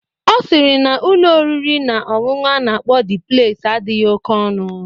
Ọ sịrị na n'Ụlọ oriri na ọṅụṅụ a na-akpọ Dị Pleis adịghị oke ọnụ.